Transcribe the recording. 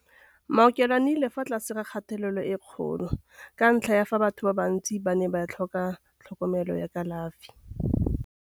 Maokelo a nnile ka fa tlase ga kgatelelo e kgolo ka ntlha ya fa batho ba bantsi ba ne ba tlhoka tlhokomelo ya kalafi.